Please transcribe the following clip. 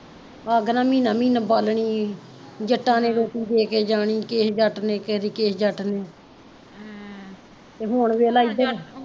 ਅੱਗ ਨਾ ਮਹੀਨਾ ਮਹੀਨਾ ਬਾਲਣੀ, ਜੱਟਾਂ ਨੇ ਰੋਟੀ ਦੇ ਕੇ ਜਾਣੀ, ਕਿਸੇ ਜੱਟ ਨੇ ਕਦੇ ਕਿਸੇ ਜੱਟ ਨੇ ਹਮ ਤੇ ਹੁਣ ਵੇਖਲਾ